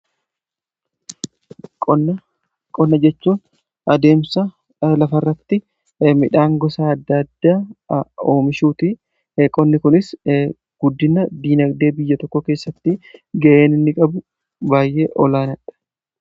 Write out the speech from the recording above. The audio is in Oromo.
qonna jechuun adeemsa lafarratti midhaan gosaa ddaadda oomishuuti eeqonni kunis guddina diinagdee biyya tokko keessatti gayenni qabu baayyee olaanadha